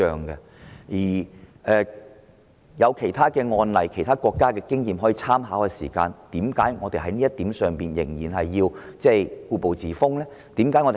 既然有其他案例和其他國家的經驗可作參考，為何要在這問題上故步自封呢？